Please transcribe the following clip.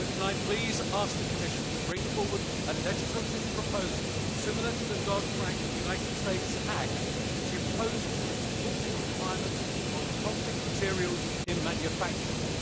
However, can I please ask the Commission to bring forward a legislative proposal similar to the Dodd Frank Act in the United States, which imposes reporting requirements on conflict materials in manufacturing?